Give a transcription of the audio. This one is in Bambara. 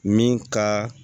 Min ka